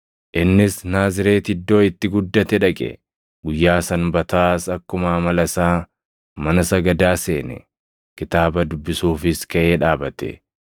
Innis Naazreeti iddoo itti guddate dhaqe; guyyaa Sanbataas akkuma amala isaa mana sagadaa seene. Kitaaba dubbisuufis kaʼee dhaabate;